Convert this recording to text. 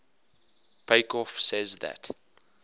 peikoff says that